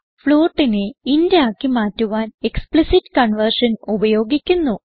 floatനെ int ആക്കി മാറ്റുവാൻ explicit conversion ഉപയോഗിക്കുന്നു